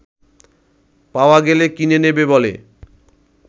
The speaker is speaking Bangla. পাওয়া গেলে কিনে নেবে বলে